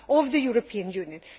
of the European Union.